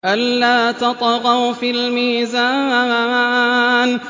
أَلَّا تَطْغَوْا فِي الْمِيزَانِ